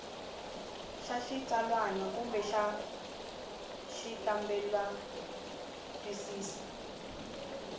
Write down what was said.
xa xitsalwana kumbe xa xikambelantwisiso